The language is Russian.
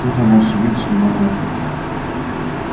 тут она ошибиться не могла